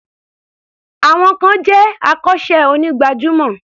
Some peple are professional barbers.